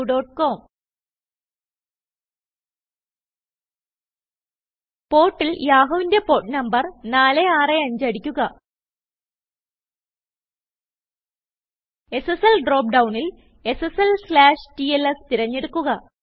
Portൽ യാഹൂവിന്റെ port number 465 അടിക്കുക SSLഡ്രോപ്പ് ഡൌണിൽ SSLTLSതിരഞ്ഞെടുക്കുക